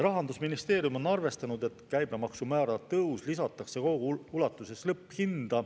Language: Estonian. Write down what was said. Rahandusministeerium on arvestanud, et käibemaksumäära tõus lisatakse kogu ulatuses lõpphinda.